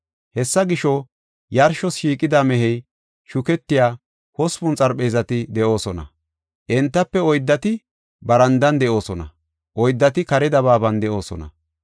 Hessa gisho, yarshos shiiqida mehey shuketiya hospun xarpheezati de7oosona; entafe oyddati barandan de7oosona; oyddati kare dabaaban de7oosona.